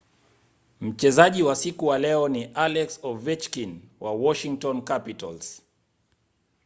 mchezaji wa siku wa leo ni alex ovechkin wa washington capitals